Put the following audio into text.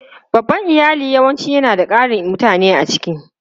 Babban iyali yawanci yana da ƙarin mutane a ciki.